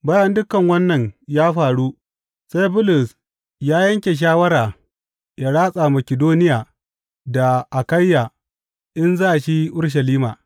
Bayan dukan wannan ya faru, sai Bulus ya yanke shawara ya ratsa Makidoniya da Akayya in za shi Urushalima.